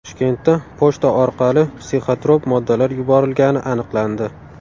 Toshkentda pochta orqali psixotrop moddalar yuborilgani aniqlandi.